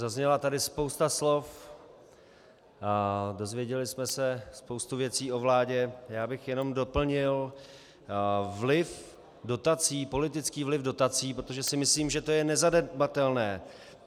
Zazněla tady spousta slov, dozvěděli jsme se spoustu věcí o vládě, já bych jenom doplnil vliv dotací, politický vliv dotací, protože si myslím, že to je nezanedbatelné.